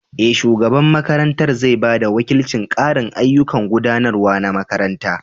Eh, shugaban makarantar zai ba da wakilcin ƙarin ayyukan gudanarwa na makaranta.